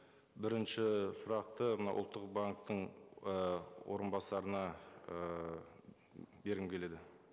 бірінші сұрақты мынау ұлттық банктің ы орынбасарына ыыы бергім келеді